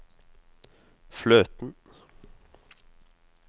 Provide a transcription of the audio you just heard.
fløten